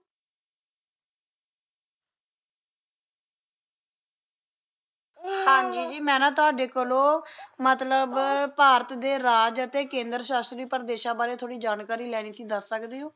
ਹਾਜੀ ਜੀ ਮੈ ਨਾ ਤਾਡੇ ਕੋਲੋਂ ਮਤਲੱਬ ਭਾਰਤ ਦੇ ਰਾਜ ਅਤੇ ਕੇਂਦਰ ਸ਼ਾਸਤਰੀ ਪਰਦੇਸਾਂ ਬਾਰੇ ਥੋੜੀ ਜਾਣਕਾਰੀ ਲੈਣੀ ਤੁਸੀ ਦਾਸ ਸਕਦੇ